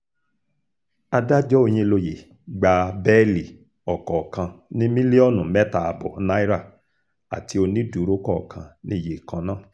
adájọ́ òyìnlóye gba bẹ́ẹ̀lì ọ̀kọ̀ọ̀kan ní mílíọ̀nù mẹ́ta ààbọ̀ náírà àti onídùúró kọ̀ọ̀kan níye kan náà